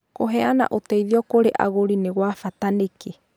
Kũheana ũteithio kũrĩ agũri nĩ gwa bata nĩkĩ?